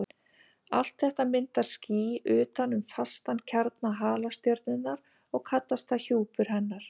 Allt þetta myndar ský utan um fastan kjarna halastjörnunnar og kallast það hjúpur hennar.